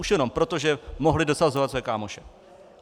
Už jenom proto, že mohli dosazovat své kámoše.